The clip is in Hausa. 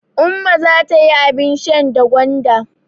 Umma za ta yi abin shan da gwanda.